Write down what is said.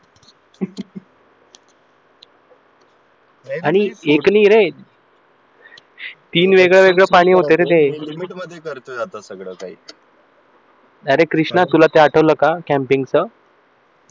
आणि एक नाही रे तीन वेगवेगळं पाणी होत रे ते अरे कृष्णा तुला ते आठवलं का camping च